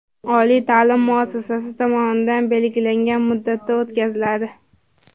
oliy taʼlim muassasasi tomonidan belgilangan muddatda o‘tkaziladi.